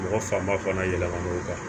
Mɔgɔ fanba fana yɛlɛmana o kan